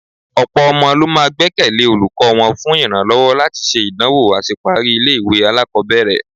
Ọ̀pọ̀ ọmọ ló máa gbẹ́kẹ̀lé olùkọ́ wọn fún ìrànlọ́wọ́ láti ṣe ìdánwò àṣeparí ilé-ìwé alákọ̀ọ́bẹ̀rẹ̀..